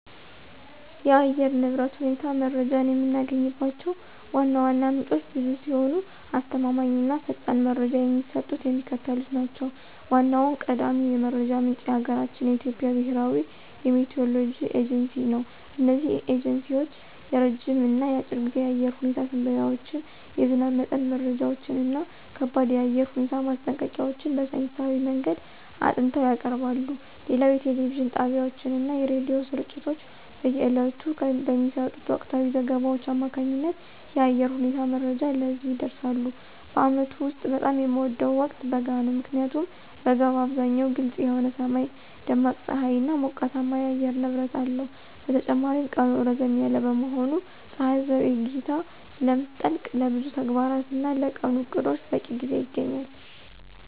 የአየር ንብረት ሁኔታ መረጃን የምናገኝባቸው ዋና ዋና ምንጮች ብዙ ሲሆኑ፣ አስተማማኝ እና ፈጣን መረጃ የሚሰጡት የሚከተሉት ናቸው ዋናውና ቀዳሚው የመረጃ ምንጭ የሀገራችን የኢትዮጵያ ብሔራዊ የሚቲዎሮሎጂ ኤጀንሲ ነው። እነዚህ ኤጀንሲዎች የረጅም እና የአጭር ጊዜ የአየር ሁኔታ ትንበያዎችን፣ የዝናብ መጠን መረጃዎችን እና ከባድ የአየር ሁኔታ ማስጠንቀቂያዎችን በሳይንሳዊ መንገድ አጥንተው ያቀርባሉ። ሌላው የቴሌቪዥን ጣቢያዎችና የሬዲዮ ስርጭቶች በየዕለቱ በሚሰጡት ወቅታዊ ዘገባዎች አማካኝነት የአየር ሁኔታ መረጃን ለህዝብ ያደርሳሉ። በዓመቱ ውስጥ በጣም የምወደው ወቅት በጋ ነው። ምክንያቱም በጋ በአብዛኛው ግልጽ የሆነ ሰማይ፣ ደማቅ ፀሐይና ሞቃታማ የአየር ንብረት አለው። በተጨማሪም ቀኑ ረዘም ያለ በመሆኑና ፀሐይ ዘግይታ ስለምትጠልቅ፣ ለብዙ ተግባራትና ለቀኑ ዕቅዶች በቂ ጊዜ ይገኛል።